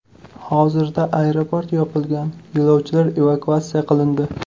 Hozirda aeroport yopilgan, yo‘lovchilar evakuatsiya qilindi.